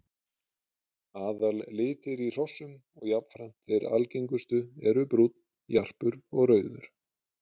Aðallitir í hrossum og jafnframt þeir algengustu eru brúnn, jarpur og rauður.